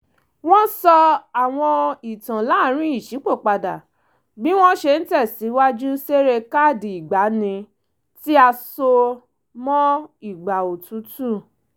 wọ́n sọ àwọn ìtàn láàrin ìṣípòpadà bí wọ́n ṣe ń tẹ̀sìwájú ṣeré káàdì ìgbaanì tí a só mọ́ ìgbà òtútù